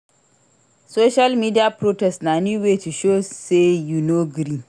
Social media protest na new way to show sey you no gree.